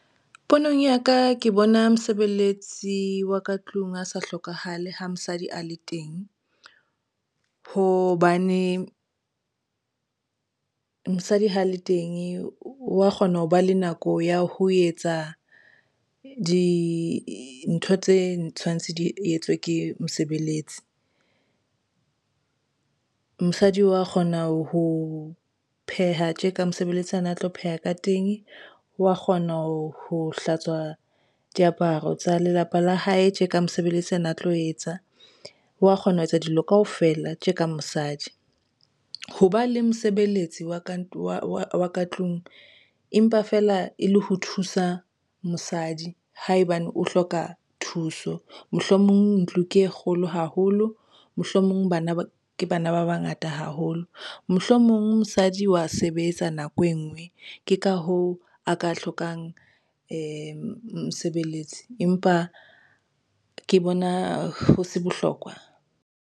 Ponong ya ka ke bona mosebeletsi wa ka tlung a sa hlokahale ha mosadi a le teng, hobane mosadi ha le teng wa kgona ho ba le nako ya ho etsa dintho tse tshwantse di etswe ke mosebeletsi. Mosadi wa kgona ho pheha tje ka mosebeletsi ana tlo pheha ka teng, o wa kgona ho hlatswa diaparo tsa lelapa la hae tje ka mosebeletsi ana tlo etsa, wa kgona ho etsa dilo kaofela tje ka mosadi. Hoba le mosebeletsi wa ka tlung empa feela e le ho thusa mosadi haebane o hloka thuso. Mohlomong ntlo ke e kgolo haholo, mohlomong bana ba ke bana ba bangata haholo. Mohlomong mosadi wa sebetsa nako e ngwe ke ka hoo a ka hlokang mosebeletsi, empa ke bona ho se bohlokwa.